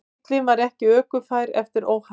Bíllinn var ekki ökufær eftir óhappið